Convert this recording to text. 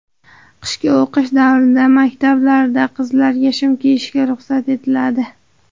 Qishki o‘qish davrida maktablarda qizlarga shim kiyishga ruxsat etiladi.